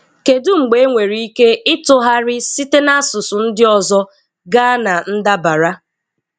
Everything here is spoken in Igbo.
Kedu mgbe enwere ike ịtụgharị site na asụsụ ndị ọzọ gaa na ndabara?